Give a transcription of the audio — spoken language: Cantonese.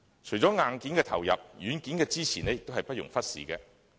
除了硬件的投入，軟件的支持也不容忽視。